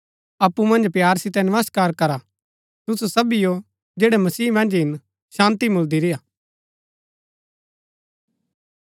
अप्पु मन्ज प्‍यार सितै नमस्कार करा तुसु सबीओ जैड़ै मसीह मन्ज हिन शान्ती मुळदी रेय्आ